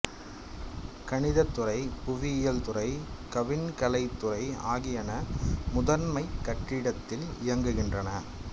கணிதத் துறை புவியியல் துறை கவின்கலை துறை ஆகியன முதன்மைக் கட்டிடத்தில் இயங்குகின்றன